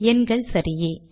எண்கள் சரியே